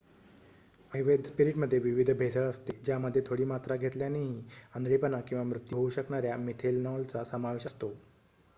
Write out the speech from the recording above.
अवैध स्पिरीटमध्ये विविध भेसळ असते ज्यामध्ये थोडी मात्रा घेतल्यानेही आंधळेपणा किंवा मृत्यू होऊ शकणाऱ्या मिथेनॉलचा समावेश असतो